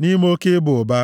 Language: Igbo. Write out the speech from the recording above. nʼime oke ịba ụba.